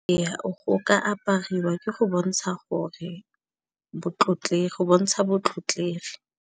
Go ka apariwa ke go bontsha gore bontsha motlotlegi.